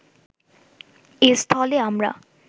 এস্থলে আমরা